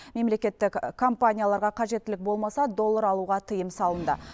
мемлекеттік компанияларға қажеттілік болмаса доллар алуға тыйым салынды